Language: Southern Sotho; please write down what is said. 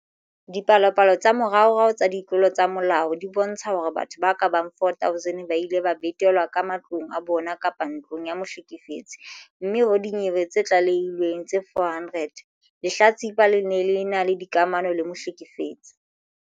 Dipalopalo tsa moraorao tsa ditlolo tsa molao di bontsha hore batho ba ka bang 4 000 ba ile ba betelwa ka matlong a bona kapa ntlong ya mohlekefetsi, mme ho dinyewe tse tlalehilweng tse 400, lehlatsipa le ne le ena le dikamano le mohlekefetsi.